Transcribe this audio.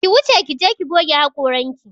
Ki wuce ki je ki goge haƙoranki!